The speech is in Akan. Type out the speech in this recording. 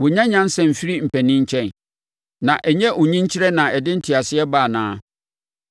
Wɔnnya nyansa mfiri mpanin nkyɛn, na ɛnyɛ ɔnyinkyerɛ na ɛde nteaseɛ ba anaa?